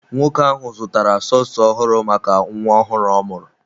Nwoke ahụ zụtara sọks ọhụrụ maka nwa ọhụrụ ọ mụrụ.